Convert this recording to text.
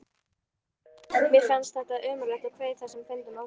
Mér fannst þetta ömurlegt og kveið þessum fundum óskaplega.